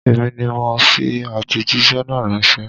Èmi ni mo fi àtẹ̀jíṣẹ́ náà ránṣẹ́.